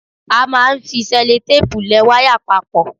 A máa ń fi sẹ́lótéèpu le wáyà papọ.